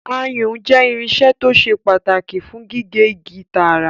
Ayùn jẹ́ irinṣẹ́ tó ṣe pàtàkì fún gígé igi tààrà